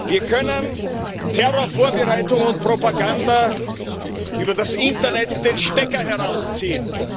Wir können Terrorvorbereitungen und Propaganda über das Internet den Stecker herausziehen.